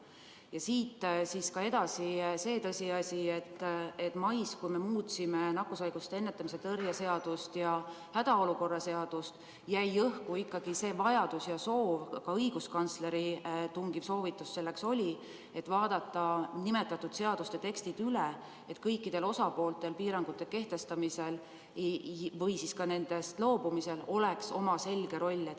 Ja siit edasi: on tõsiasi, et mais, kui me muutsime nakkushaiguste ennetamise ja tõrje seadust ja hädaolukorra seadust, jäi ikkagi õhku see, et ka õiguskantsleri tungiv soovitus oli vaadata nimetatud seaduste tekstid üle, et kõikidel osapooltel oleks piirangute kehtestamisel või siis ka nendest loobumisel oma selge roll.